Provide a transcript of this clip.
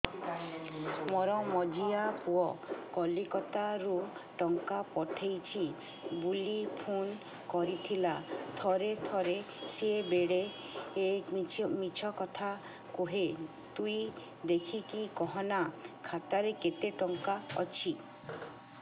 ମୋର ମଝିଆ ପୁଅ କୋଲକତା ରୁ ଟଙ୍କା ପଠେଇଚି ବୁଲି ଫୁନ କରିଥିଲା ଥରେ ଥରେ ସିଏ ବେଡେ ମିଛ କଥା କୁହେ ତୁଇ ଦେଖିକି କହନା ଖାତାରେ କେତ ଟଙ୍କା ଅଛି